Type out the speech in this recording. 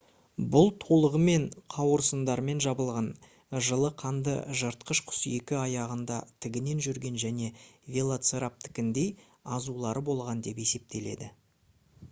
бұл толығымен қауырсындармен жабылған жылы қанды жыртқыш құс екі аяғында тігінен жүрген және велоцираптордыкіндей азулары болған деп есептеледі